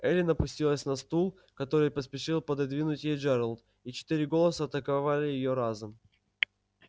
эллин опустилась на стул который поспешил пододвинуть ей джералд и четыре голоса атаковали её разом